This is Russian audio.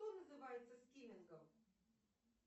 что называется скимингом